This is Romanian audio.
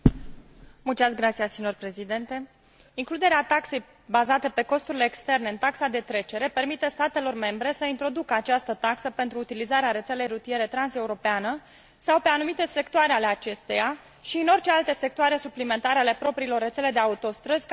Includerea taxei bazate pe costurile externe în taxa de trecere permite statelor membre să introducă această taxă pentru utilizarea rețelei rutiere transeuropeană sau pe anumite sectoare ale acesteia și în orice alte sectoare suplimentare ale propriilor rețele de autostrăzi, care nu fac parte din rețeaua rutieră transeuropeană.